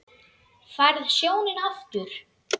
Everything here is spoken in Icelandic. Færð sjónina aftur.